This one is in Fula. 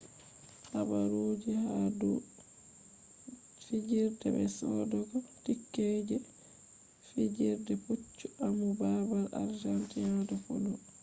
habaruji ha dou fijirde be sodogo tickets je fijirde poccu amu babal argentina de polo